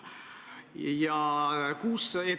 Aitäh teile selle küsimuse eest!